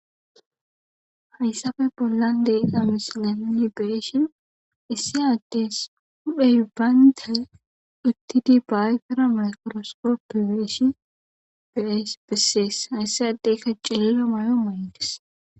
hayssafe bollan deyiqa misilanoni beeshin issi addes udhey baynta dhuttidi baayfira makroskopi beeshi bespesees hayssi addeykka ceelila mayo maydes